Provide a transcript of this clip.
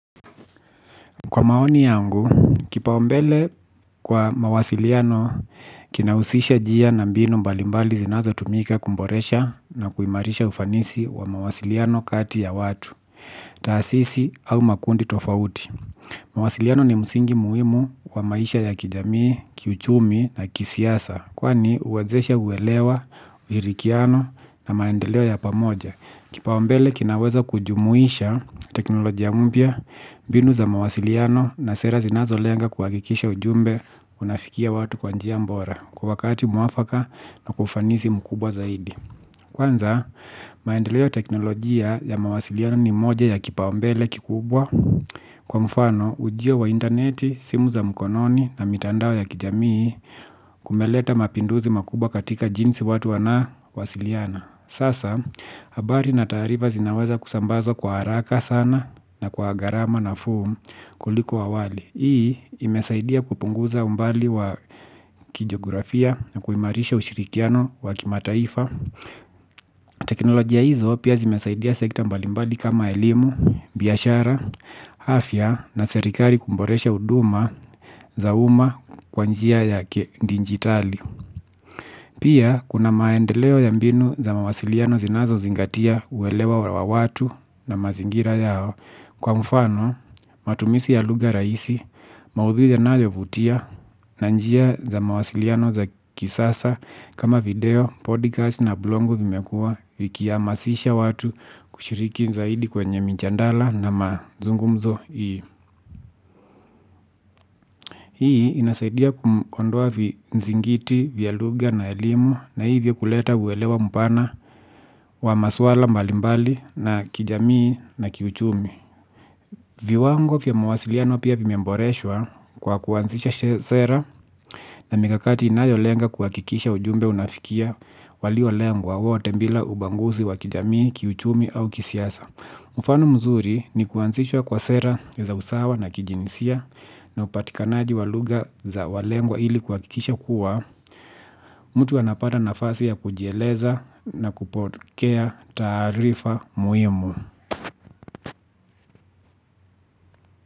Kwa maoni yangu, kipaombele kwa mawasiliano kinausisha jia na mbinu mbalimbali zinazo tumika kumboresha na kuimarisha ufanisi wa mawasiliano kati ya watu, taasisi au makundi tofauti. Mawasiliano ni msingi muhimu wa maisha ya kijamii, kiuchumi na kisiasa, kwani uwezesha uwelewa, ujirikiano na maendeleo ya pamoja. Kipawambele kinaweza kujumuisha teknolojia mbya, mbinu za mawasiliano na sera zinazoleanga kuagikisha ujumbe unafikia watu kwa njia mbora kwa wakati muafaka na kwa ufanisi mkubwa zaidi. Kwanza, maendeleo teknolojia ya mawasiliano ni moja ya kipawambele kikubwa kwa mfano ujio wa interneti, simu za mkononi na mitandao ya kijamii kumeleta mapinduzi makubwa katika jinsi watu wanawasiliana. Sasa habari na tarifa zinaweza kusambaza kwa haraka sana na kwa garama nafuu kuliko wawali. Hii imesaidia kupunguza umbali wa kijografia na kuimarisha ushirikiano wa kimataifa. Teknolojia hizo pia zimesaidia sekita mbali mbali kama elimu, biyashara, afya na serikari kumboresha uduma za uma kwa njia ya kiendinjitali. Pia, kuna maendeleo ya mbinu za mawasiliano zinazo zingatia uwelewa wa watu na mazingira yao kwa mfano, matumisi ya luga raisi, maudhui yanayovutia na njia za mawasiliano za kisasa kama video, podcast na blogu vimekua vikiamasisha watu kushiriki zaidi kwenye minchandala na mazungumzo ii. Hii inasaidia kuondoa vizingiti, via luga na elimu na hivyo kuleta uwelewa mpana wa maswala mbalimbali na kijamii na kiuchumi. Viwango fia mawasiliano pia vimemboreshwa kwa kuwansisha sera na migakati inayolenga kwakikisha ujumbe unafikia walio walengwa wote mbila ubanguzi wa kijamii, kiuchumi au kisiasa. Mufano mzuri ni kuanzishwa kwa sera za usawa na kijinisia na upatikanaji wa luga za walengwa ili kwakikisha kuwa, mtu anapada nafasi ya kujieleza na kupokea tarifa muhimu.